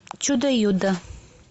чудо юдо